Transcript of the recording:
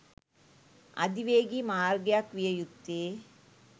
අධිවේගී මාර්ගයක් විය යුත්තේ